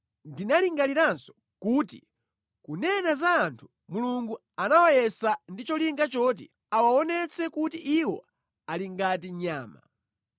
Ndinalingaliranso kuti, “Kunena za anthu, Mulungu amawayesa ndi cholinga choti awaonetse kuti iwo ali ngati nyama.